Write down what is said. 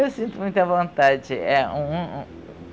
Eu sinto muita vontade. É um um